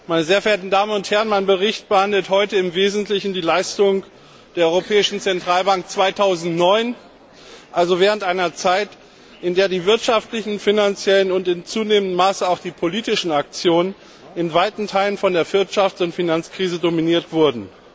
Meine sehr verehrten Damen und Herren, mein Bericht behandelt heute im Wesentlichen die Leistung der Europäischen Zentralbank 2009, also während einer Zeit, in der die wirtschaftlichen, finanziellen und in zunehmendem Maße auch die politischen Aktionen in weiten Teilen von der Wirtschafts und Finanzkrise dominiert wurden.